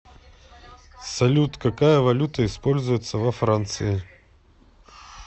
салют какая валюта используется во франции